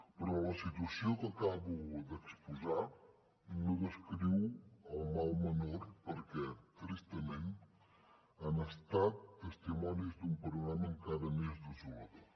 però la situació que acabo d’exposar descriu el mal menor perquè tristament hem estat testimonis d’un panorama encara més desolador